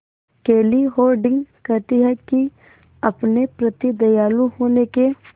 केली हॉर्डिंग कहती हैं कि अपने प्रति दयालु होने के